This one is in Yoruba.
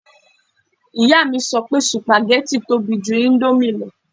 Ìyá mi sọ pé sùpàgẹ́tì tóbi ju íńdómì lọ